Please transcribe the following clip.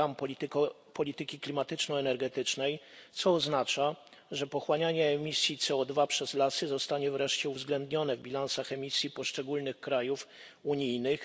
do ram polityki klimatyczno energetycznej, co oznacza, że pochłanianie emisji CO2 przez lasy zostanie wreszcie uwzględnione w bilansach emisji poszczególnych krajów unijnych.